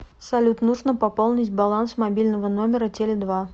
салют нужно пополнить баланс мобильного номера теле два